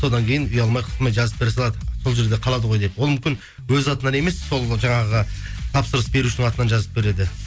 содан кейін ұялмай қысылмай жазып бере салады сол жерде қалады ғой деп ол мүмкін өз атынан емес сол жаңағы тапсырыс берушінің атынан жазып береді